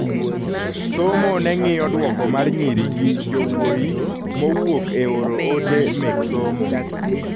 Somo neng'iyo duoko mar nyiri gi jowuoyi mowuok e oro ote mek somo